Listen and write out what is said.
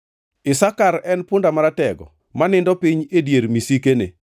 “Isakar en punda maratego ma nindo piny e dier misikene.